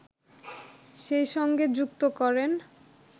সেই সঙ্গে যুক্ত করেন